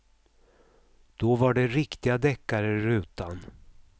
Då var det riktiga deckare i rutan.